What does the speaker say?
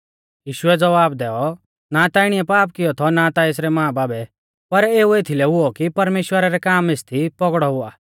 यीशुऐ ज़वाब दैऔ ना ता इणीऐ पाप किऔ थौ ना ता एसरै मांबाबै पर एऊ एथीलै हुऔ कि परमेश्‍वरा रै काम एसदी पौगड़ौ हुआ